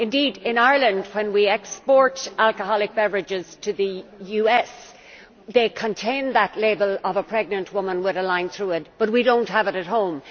Indeed in Ireland, when we export alcoholic beverages to the US, they contain that label of a pregnant women with a line through her, but we do not have it at home.